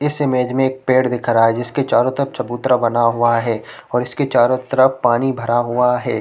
इस इमेज में एक पेड़ दिख रहा है जिसके चारो तरफ चबूतरा बना हुआ है और इसके चारो तरफ पानी भरा हुआ हुआ है।